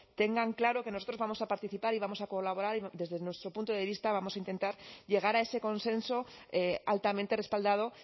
tengan claro que nosotros vamos a participar y vamos a colaborar y desde nuestro punto de vista vamos a intentar llegar a ese consenso altamente respaldado